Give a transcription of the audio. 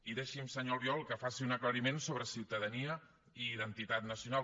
i deixi’m senyor albiol que faci un aclariment sobre ciutadania i identitat nacional